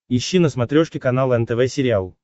ищи на смотрешке канал нтв сериал